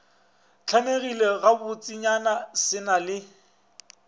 hlamegile gabotsenyana se na le